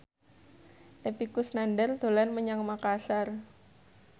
Epy Kusnandar dolan menyang Makasar